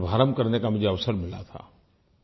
इसका शुभारम्भ करने का मुझे अवसर मिला था